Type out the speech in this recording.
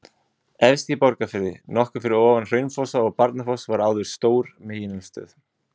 Efst í Borgarfirði, nokkuð fyrir ofan Hraunfossa og Barnafoss var áður stór megineldstöð.